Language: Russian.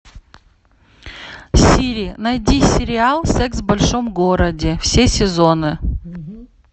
сири найди сериал секс в большом городе все сезоны